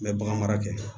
N bɛ bagan mara kɛ